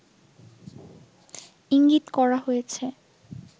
ইঙ্গিত করা হয়েছে